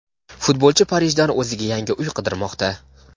futbolchi Parijdan o‘ziga yangi uy qidirmoqda.